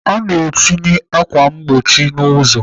A na-etinye akwa mgbochi n'ụzọ.